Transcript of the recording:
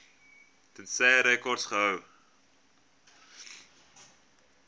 tensy rekords gehou